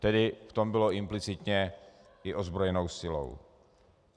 Tedy v tom bylo implicitně i ozbrojenou silou.